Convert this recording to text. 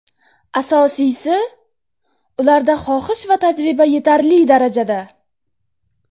Asosiysi, ularda xohish va tajriba yetarli darajada.